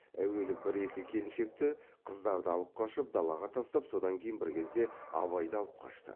әуелі бір екі келіншекті қыздарды алып қашып далаға тастап содан кейін бір кезде абайды алып қашты